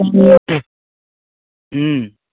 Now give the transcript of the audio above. হম